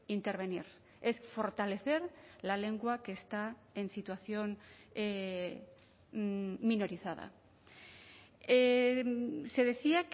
intervenir es fortalecer la lengua que está en situación minorizada se decía